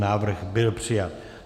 Návrh byl přijat.